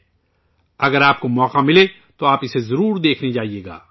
اگر آپ کو موقع ملے تو آپ اسے دیکھنے ضرور جائیں